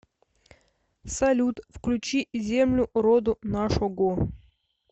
салют включи землю роду нашого